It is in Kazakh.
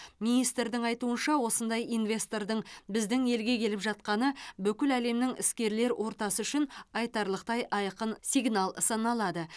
министрдің айтуынша осындай инвестордың біздің елге келіп жатқаны бүкіл әлемнің іскерлер ортасы үшін айтарлықтай айқын сигнал саналады